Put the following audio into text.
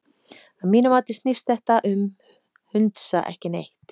Að mínu mati snýst þetta um hundsa ekki neitt.